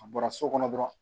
A bɔra so kɔnɔ dɔrɔn